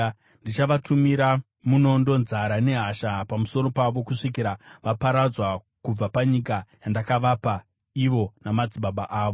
Ndichavatumira munondo, nzara, nehasha pamusoro pavo kusvikira vaparadzwa kubva panyika yandakavapa ivo namadzibaba avo.’ ”